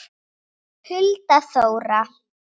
Hulda Þóra.